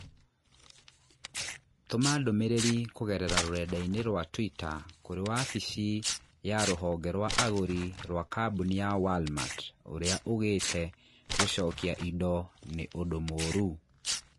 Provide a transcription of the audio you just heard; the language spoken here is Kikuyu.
Tũma ndũmĩrĩri kũgerera rũrenda-inī rũa tũita kũrī wabici ya rũhonge rwa agũri rũa kambũni ya Walmart ũrĩa ũgīte gũcokia indo nĩ ũndũ mũũru